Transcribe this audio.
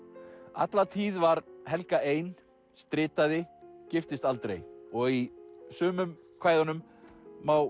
alla tíð var Helga ein stritaði giftist aldrei og í sumum kvæðunum má